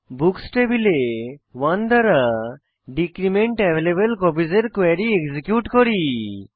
books টেবিলে 1 দ্বারা decrement available copies এর কোয়েরী এক্সিকিউট করি